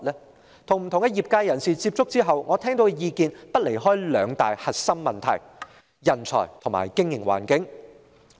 我曾與不同業界人士接觸，聽到的意見離不開兩大核心問題：人才和經營環境。